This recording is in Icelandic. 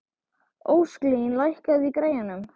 Ósklín, lækkaðu í græjunum.